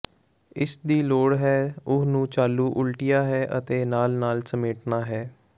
ਇਸ ਦੀ ਲੋੜ ਹੈ ਉਹ ਨੂੰ ਚਾਲੂ ਉਲਟਿਆ ਹੈ ਅਤੇ ਨਾਲ ਨਾਲ ਸਮੇਟਣਾ ਹੈ